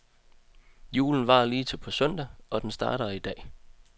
Julen varer lige til på søndag, og den starter i dag.